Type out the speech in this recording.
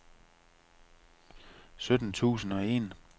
sytten tusind og en